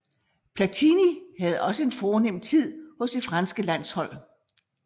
Platini havde også en fornem tid hos det franske landshold